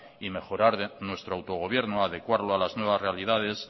y mejorar nuestro autogobierno adecuarlo a las nuevas realidades